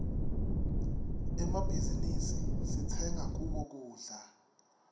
emmabhizinisi sitsenga kuwo kudla